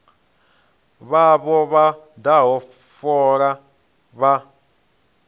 vhavho vha daha fola vha